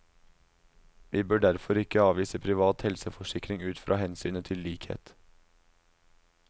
Vi bør derfor ikke avvise privat helseforsikring ut fra hensynet til likhet.